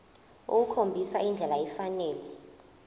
ukukhombisa indlela efanele